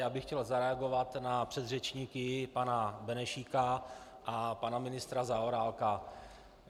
Já bych chtěl zareagovat na předřečníky pana Benešíka a pana ministra Zaorálka.